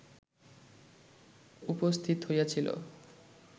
উপস্থিত হইয়াছিল